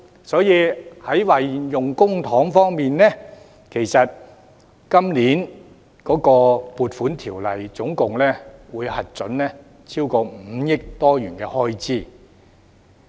在運用公帑方面，《2019年撥款條例草案》總共會核准超過 5,000 億元開支。